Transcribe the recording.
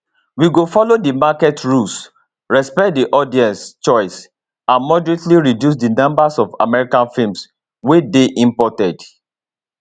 we go follow di market rules respect di audience choice and moderately reduce di number of american films wey dey imported